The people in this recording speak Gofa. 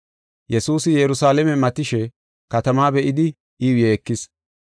Yesuusi Yerusalaame matishe katamaa be7idi iyaw yeekis.